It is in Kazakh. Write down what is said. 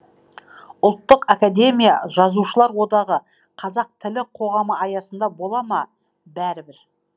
ұлттық академия жазушылар одағы қазақ тілі қоғамы аясында бола ма бәрібір